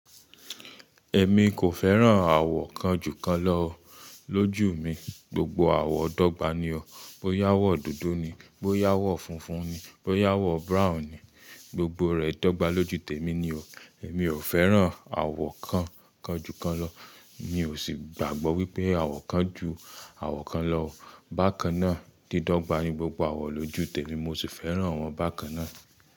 Ẹ̀ mi kò fẹ́ràn àwo kan jù kan lọ o lójú mi, gbogbo àwọ̀n dọ́gba ni o. Bó yá àwọ̀ dúdú ni, bó yá àwọ̀ funfun ni, bó yá àwọ̀ brown ni, gbogbo rẹ̀ dọ́gba lójú tèmi ni o. Ẹ̀mi ò fẹ́ràn àwọ̀ kan kan jù kan lọ, mi ò sì gbàgbọ́ wípé àwọ̀ kan ju àwọ̀ kan lọ. Bàkan náà dídọ́gba ni gbogbo àwọ̀ lójú tèmi mo sì fẹ́ràn wọn bàkan náà.